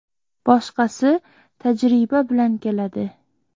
Boshqasi tajriba bilan keladi.